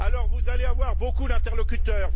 Vous allez avoir beaucoup d'interlocuteurs.